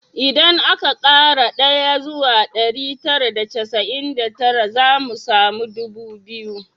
Idan aka kara ɗaya zuwa ɗari tara da casa’in da tara, za mu samu ɗubu biyu